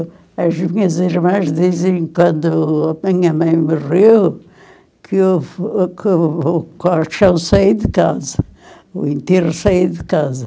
E as minhas irmãs dizem, quando a minha mãe morreu, que o o o caixão saiu de casa, o enterro saiu de casa.